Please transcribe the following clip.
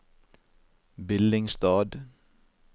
Billingstad